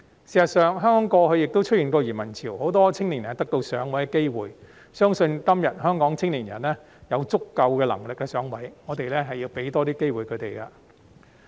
事實上，香港過去亦出現過移民潮，很多青年人得到"上位"的機會，我相信今天香港的青年人有足夠能力"上位"，我們要給予他們多一些機會。